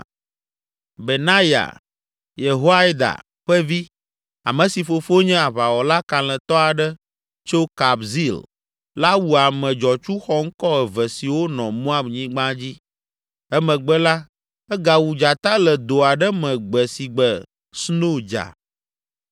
Benaya Yehoiada ƒe vi, ame si fofo nye aʋawɔla kalẽtɔ aɖe tso Kabzeel la wu ame dzɔtsu xɔŋkɔ eve siwo nɔ Moab nyigba dzi. Emegbe la, egawu dzata le do aɖe me gbe si gbe sno dza.